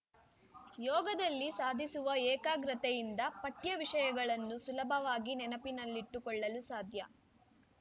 ಯೋಗದಲ್ಲಿ ಸಾಧಿಸುವ ಏಕಾಗ್ರತೆಯಿಂದ ಪಠ್ಯ ವಿಷಯಗಳನ್ನು ಸುಲಭವಾಗಿ ನೆನಪಿನಲ್ಲಿಟ್ಟುಕೊಳ್ಳಲು ಸಾಧ್ಯ